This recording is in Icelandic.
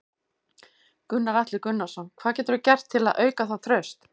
Gunnar Atli Gunnarsson: Hvað geturðu gert til þess að auka það traust?